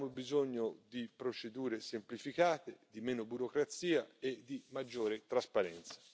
Abbiamo bisogno di procedure semplificate, di meno burocrazia e di maggiore trasparenza.